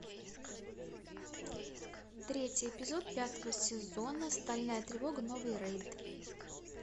третий эпизод пятого сезона стальная тревого новый рейд